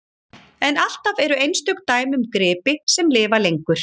En alltaf eru einstök dæmi um gripi sem lifa lengur.